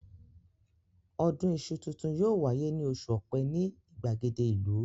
Ọdún iṣu tuntun yóò wáyé ní oṣù Ọ̀pẹ ní ìgbàgede ìlú